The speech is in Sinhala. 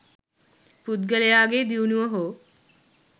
පුද්ගලයාගේ දියුණුව හෝ